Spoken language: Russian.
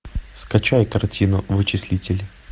скачай картину вычислитель